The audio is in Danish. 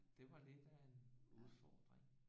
Det var lidt af en udfordring